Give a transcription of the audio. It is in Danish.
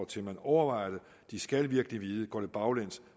til at man overvejer det de skal virkelig vide at går det baglæns